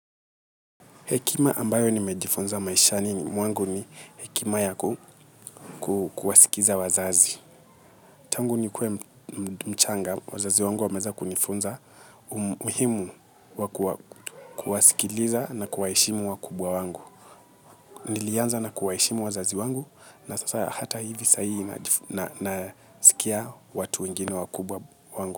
Hekima ambayo nimejifunza maishani ni mwangu ni hekima yaku kuwasikiza wazazi. Tangu nikuwe mchanga, wazazi wangu wameza kunifunza umuhimu wa kuwasikiliza na kuwaheshimu wa kubwa wangu. Nilianza na kuwaheshimu wazazi wangu na sasa hata hivi saihi nasikia watu wengine wa kubwa wangu.